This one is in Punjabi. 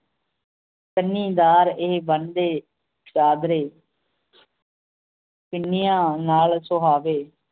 ਕੰਨੀਦਾਰ ਇਹ ਬੰਨਦੇ ਚਾਦਰੇ ਪਿੰਨੀਆਂ ਨਾਲ ਸੁਹਾਵੇ